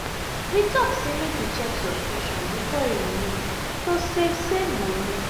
we talk say make we check subscription before e renew to save save money.